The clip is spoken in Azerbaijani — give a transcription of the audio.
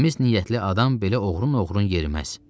Təmiz niyyətli adam belə oğrun-oğrun yeriməz.